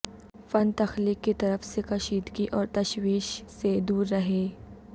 فن تخلیق کی طرف سے کشیدگی اور تشویش سے دور رہیں